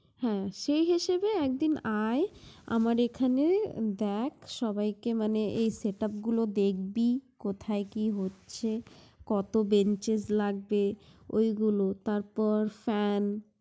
হ্যাঁ সে হিসেবে একদিন আয় আমার এখানে, দেখ সবাইকে মানে এই setup গুলো দেখবি কোথায় কি হচ্ছে, কত benches লাগবে ঐগুলো তারপর fan